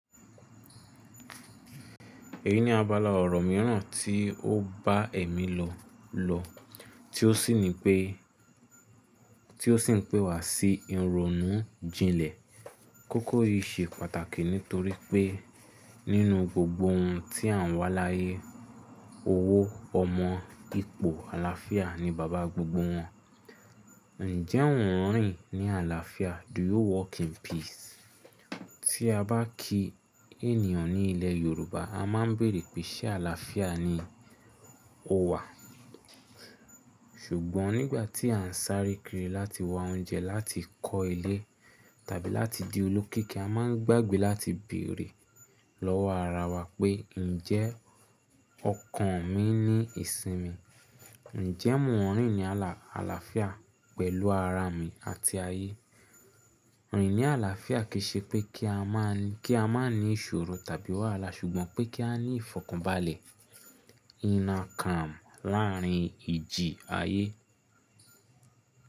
Èyí ni abala ọ̀rọ̀ mìíràn tí ó bá èmi lọ lọ, ti o sí ní tí ó sì ń pé wá sí ìrònú jinlẹ̀. Kókó yìí ṣe pàtàkì nítorí pé nínú gbogbo ohun tí à ń wá láyé, owó, ọmọ, ipò, àlàáfíà ni baba gbogbo wọn. Ǹjẹ́ ò ń rìn ní àlàáfíà? Do you walk in peace? Tí a bá kí ènìyàn ní ilẹ̀ Yorùbá, a máa ń bèrè pé ṣé àlàáfíà ni o wà? Ṣùgbọ́n nígbà tí à ń sáré kiri láti wa oúnjẹ, láti kọ́ ilé tàbí láti di olókìkí, a máa ń gbàgbé láti bèrè lọ́wọ́ ara wa pé ǹjẹ́ ọkàn mi ní ìsinmi? Ǹjẹ́ mò ń rìn ní àlàáfíà pẹ̀lú ara mi àti ayé? Rìn ní àlàáfíà kì í ṣe pé kí a má ní ìṣòro tàbí wàhálà, ṣùgbọ́n pé kí á ní ìfọ̀kànbalẹ̀, inner calm, láàárín ìjì ayé.